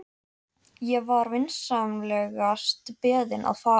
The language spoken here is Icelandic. Ég var vinsamlegast beðinn að fara.